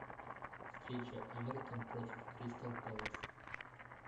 встреча эвертон против кристал пэлас